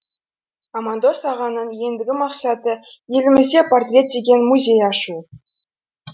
амандос ағаның ендігі мақсаты елімізде портрет деген музей ашу